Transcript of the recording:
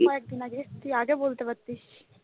কয়েকদিন আগে তুই আগে বলতে পারতিস।